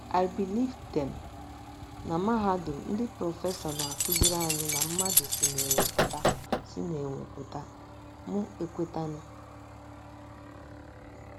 I believed them. Na mahadum, ndị prọfesọ na - akụziri anyị na mmadụ si n’enwe pụta si n’enwe pụta, mụ ekwetanụ.